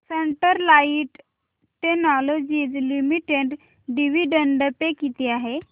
Sterlite Technologies Limited dividend pay किती आहे